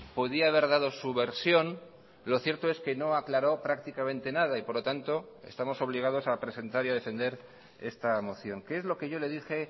podía haber dado su versión lo cierto es que no aclaró prácticamente nada y por lo tanto estamos obligados a presentar y a defender esta moción qué es lo que yo le dije